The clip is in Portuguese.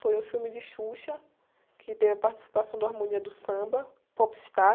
Foi o filme de Xuxa, que teve a participação da Harmonia do Samba, Popstar.